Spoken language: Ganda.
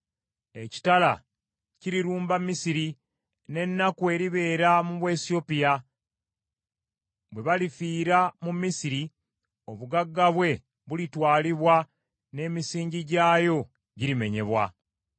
Ekitala kirirumba Misiri, n’ennaku eribeera mu Buwesiyopya. Bwe balifiira mu Misiri, obugagga bwe bulitwalibwa n’emisingi gyayo girimenyebwa.’